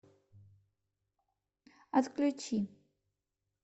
отключи